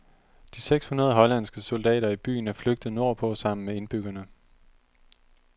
De seks hundrede hollandske soldater i byen er flygtet nordpå sammen med indbyggerne.